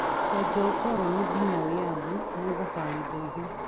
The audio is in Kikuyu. Kũanjia ũkoroni ngina wĩyathi, nĩ thabarĩ ndaihu.